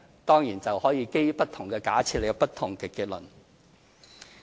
當然，這是可以基於不同的假設而有不同的結論。